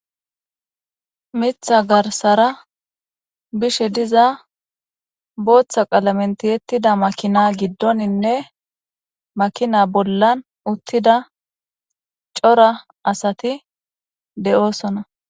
mitha garsara bishe diza booththa qalamentiyettida makina giddoninne makina bollan uttida cora asati de7oosona